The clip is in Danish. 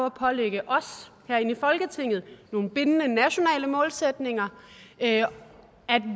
at pålægge os herinde i folketinget nogle bindende nationale målsætninger at